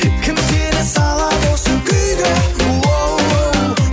кім сені салады осы күйге оу оу